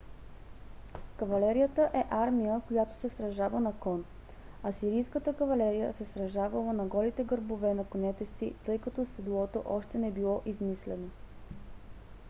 кавалерията е армия която се сражава на кон. асирийската кавалерия се сражавала на голите гърбове на конете си тъй като седлото още не било измислено